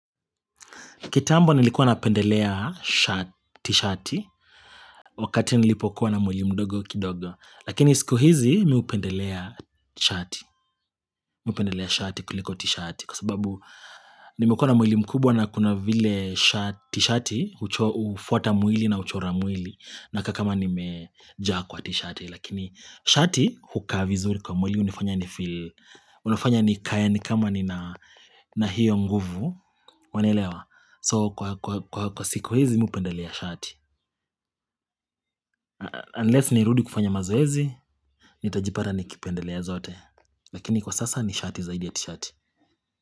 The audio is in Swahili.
Kitambo nilikuwa na pendelea t-shati wakati nilipokuwa na mwili mdogo kidogo. Lakini siku hizi mimi hupendelea shati kuliko t-shati kwa sababu nimikuwa na mwili mkubwa na kuna vile t-shati ufuata mwili na uchora mwili na kakama nimejaa kwa t-shati. Lakini shati hukaa vizuri kwa mwili unifanya ni kaya ni kama ni na hiyo nguvu wanelewa. So kwa siku hizi umpendelea shati Unless niirudi kufanya mazoezi Nitajipata nikipendelea zote, lakini kwa sasa ni shati zaidia tishati.